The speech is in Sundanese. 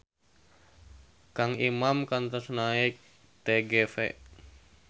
Kang Iman kantos naek TGV